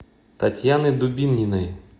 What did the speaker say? татьяны дубининой